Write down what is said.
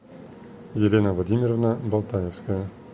елена владимировна болтаевская